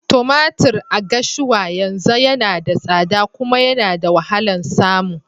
Tumatir a Gashua yanzu yana da tsada kuma yana da wahalan samu.